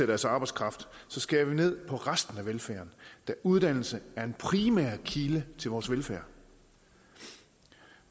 deres arbejdskraft så skærer vi ned på resten af velfærden da uddannelse er en primær kilde til vores velfærd